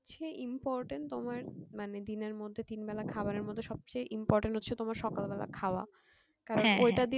সে important তোমার মানে দিনের মধ্যে তিন বেলা খাবার এর মধ্যে সবচেয়ে important হচ্ছে তোমার সকাল বেলা খাওয়া কারণ ওটা দিয়ে